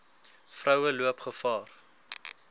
vroue loop gevaar